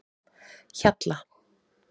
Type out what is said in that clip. Hjalla